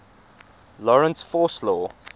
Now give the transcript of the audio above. lorentz force law